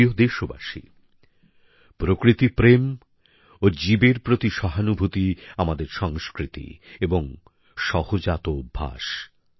আমার প্রিয় দেশবাসী প্রকৃতি প্রেম ও জীবের প্রতি সহানুভূতি আমাদের সংস্কৃতি এবং সহজাত অভ্যেস